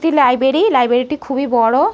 এটি library. Library টি খুবই বড়।